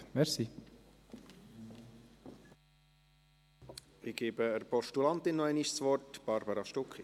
Ich gebe der Postulantin noch einmal das Wort, Barbara Stucki.